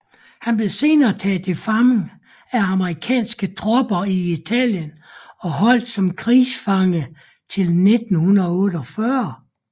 Han blev senere taget til fange af amerikanske tropper i Italien og holdt som krigsfange til 1948